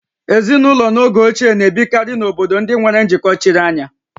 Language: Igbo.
Ezinụlọ n'oge ochie na-ebikarị n'obodo ndị nwere njikọ chiri anya